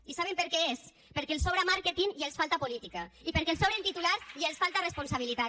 i saben per què és perquè els sobra màrqueting i els falta política i perquè els sobren titulars i els falta responsabilitat